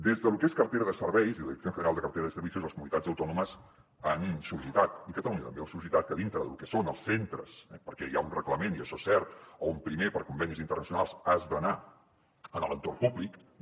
des de lo que és la cartera de serveis i la dirección general de cartera de servicios les comunitats autònomes han sol·licitat i catalunya també ho ha sol·licitat que dintre de lo que són els centres eh perquè hi ha un reglament i això és cert on primer per convenis internacionals has d’anar a l’entorn públic no